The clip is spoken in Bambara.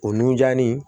O nunjannin